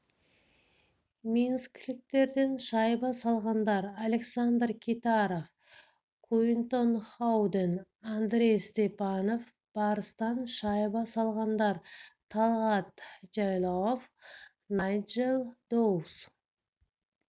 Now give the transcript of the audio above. минскіліктерден шайба салғандар александр китаров куинтон хауден андрей степанов барыстан шайба салғандар талгат жайлауов найджел доус